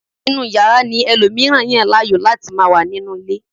inú yàrá ni ẹlòmíràn yàn láàyò láti ma wà nínú ilé